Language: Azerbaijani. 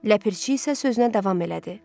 Ləpirçi isə sözünə davam elədi.